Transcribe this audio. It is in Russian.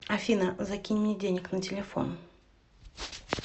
афина закинь мне денег на телефон